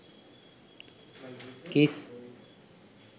kiss